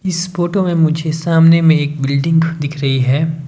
इस फोटो मे मुझे सामने मे एक बिल्डिंग दिख रही है।